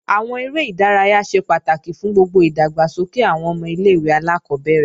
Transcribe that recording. Àwọn eré ìdárayá ṣe pàtàkì fún gbogbo ìdàgbàsókè àwọn ọmọ ilé-ìwé alákọ́bẹ̀rẹ̀